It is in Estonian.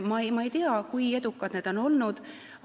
Ma ei tea, kui edukad need on olnud.